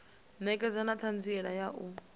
ṋekedza na ṱhanziela ya u